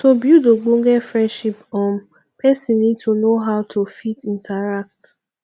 to build ogbonge friendship um person need to know how to fit interact